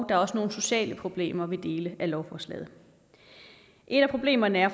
er også nogle sociale problemer ved dele af lovforslaget et af problemerne er